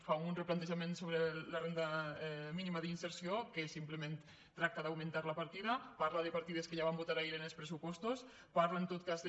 fa un replantejament sobre la renda mínima d’inserció que simplement tracta d’augmentar la partida parla de partides que ja vam votar ahir en els pressupostos parla en tot cas de